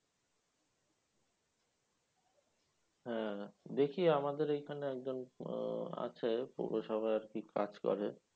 হ্যাঁ দেখি আমাদের এখানে একজন আছে পৌরসভায় আরকি কাজ করে।